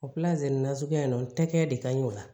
O nasuguya in na tɛgɛ de ka ɲi o la